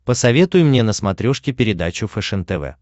посоветуй мне на смотрешке передачу фэшен тв